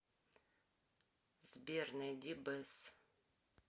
сбер найди бэс